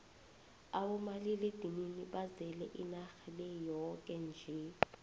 abomaliledinini bazele inarha le yoke nje